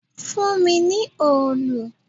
Fún mi ní òòlù!